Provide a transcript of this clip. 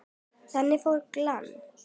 Þangað fór Glenn.